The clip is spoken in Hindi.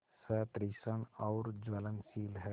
सतृष्ण और ज्वलनशील है